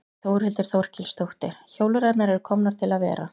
Þórhildur Þorkelsdóttir: Hjólreiðarnar eru komnar til að vera?